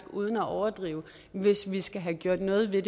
uden at overdrive hvis vi skal have gjort noget ved